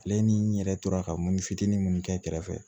Ale ni n yɛrɛ tora ka mori fitinin mun kɛ kɛrɛfɛ